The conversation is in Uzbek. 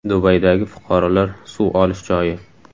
Dubaydagi fuqarolar suv olish joyi.